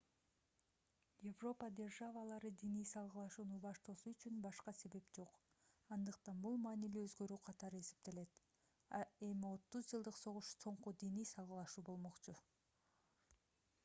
европа державалары диний салгылашууну баштоосу үчүн башка себеп жок андыктан бул маанилүү өзгөрүү катары эсептелет эми отуз жылдык согуш соңку диний салгылашуу болмокчу